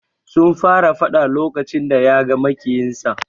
Sun fara fada lokacin da yaga maƙiyinsa.